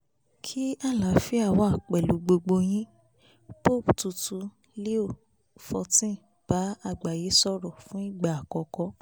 kí àlàáfíà wà pẹ̀lú yín pope tuntun leo xiv bá àgbáyé sọ̀rọ̀ fún ìgbà àkọ́kọ́